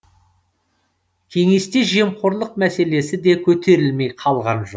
кеңесте жемқорлық мәселесі де көтерілмей қалған жоқ